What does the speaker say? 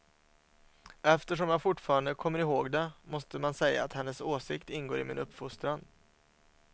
Eftersom jag fortfarande kommer ihåg det, måste man säga att hennes åsikt ingår i min uppfostran.